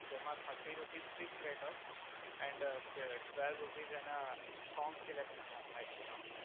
જેમા thirty rupees fix rate હોય and a twelve rupees એના સોંગ સિલેકસન ના થાય